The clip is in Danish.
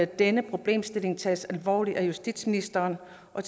denne problemstilling tages alvorligt af justitsministeren og